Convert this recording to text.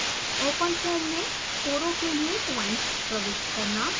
openfoam में कोरों के लिए पॉइंट्स प्रविष्ट करना